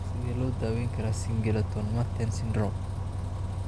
Sidee loo daweyn karaa Singleton Merten syndrome?